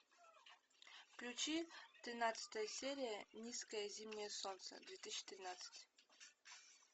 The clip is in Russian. включи тринадцатая серия низкое зимнее солнце две тысячи тринадцать